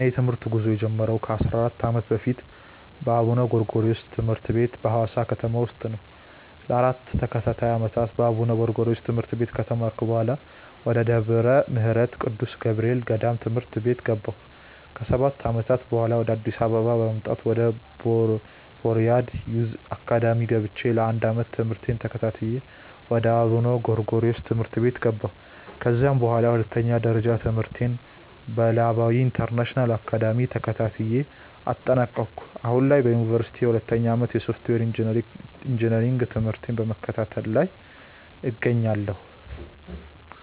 የእኔ የትምህርት ጉዞ የጀመረው ከ 14 ዓመታት በፊት በአቡነ ጎርጎሪዎስ ትምህርት ቤት በሀዋሳ ከተማ ውስጥ ነው። ለ 4 ተከታታይ ዓመታት በአቡነ ጎርጎሪዮስ ትምህርት ቤት ከተማርኩ በኃላ፣ ወደ ደብረ ምህረት ቅዱስ ገብርኤል ገዳም ትምህርት ቤት ገባሁ። ከ 7 ዓመታትም በኃላ፣ ወደ አዲስ አበባ በመምጣት ወደ ቦርያድ ዮዝ አካዳሚ ገብቼ ለ 1 ዓመት ትምህርቴን ተከታትዬ ወደ አቡነ ጎርጎሪዮስ ትምህርት ቤት ገባሁ። ከዚያም በኃላ ሁለተኛ ደረጃ ትምህርቴን በለባዊ ኢንተርናሽናል አካዳሚ ተከታትዬ አጠናቀኩ። አሁን ላይ በዮኒቨርሲቲ የሁለተኛ ዓመት የሶፍትዌር ኢንጂነሪንግ ትምህርቴን በመከታተል ላይ እገኛለሁ።